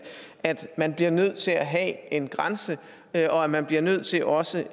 altså at man bliver nødt til at have en grænse og at man bliver nødt til også